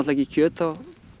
ekki kjöt á